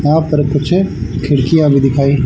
वहां पर कुछ खिड़कियां भी दिखाई--